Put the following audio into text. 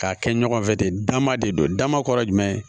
K'a kɛ ɲɔgɔn fɛ de dama de don dama kɔrɔ ye jumɛn ye